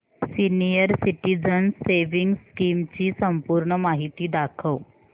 senior citizens savings scheme ची संपूर्ण माहिती दाखव